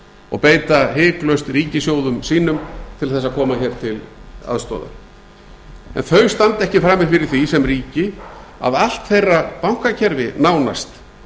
og beita hiklaust ríkissjóðum sínum til þess að koma hér til aðstoðar en þau standa ekki frammi fyrir því sem ríki að allt þeirra bankakerfi nánast